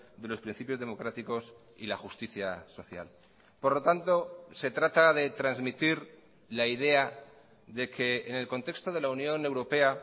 de los principios democráticos y la justicia social por lo tanto se trata de transmitir la idea de que en el contexto de la unión europea